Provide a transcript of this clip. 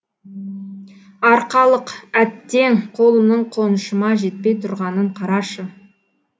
арқалық әттең қолымның қонышыма жетпей тұрғанын қарашы